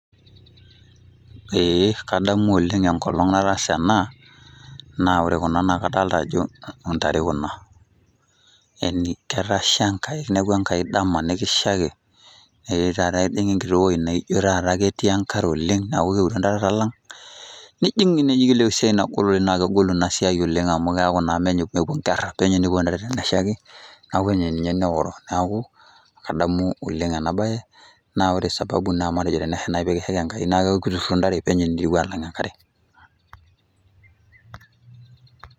Ee kadamu oleng' enkolong nataasa ena, naa ore kuna kadalta ajo intare kuna. Yani ketasha Enkai kinepua Enkai dama nikishaiki, etaata etijing'a enkiti woi naijo taata ketii enkare oleng', neeku keure ntare atalang'. Nijing' esiai nagol nakegol inasiai oleng' amu keeku naa mepuo nkerra, penyo nepuo ntare teneshaiki, neeku penyo ninye neoro. Neeku, kadamu oleng enabae, na ore sababu naa matejo tenesha nai pikishaiki Enkai, neeku kiturrurro ntare penyo niitieu atalang' enkare.